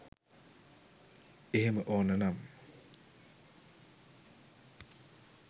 එහෙම ඕන නම්